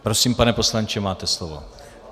Prosím, pane poslanče, máte slovo.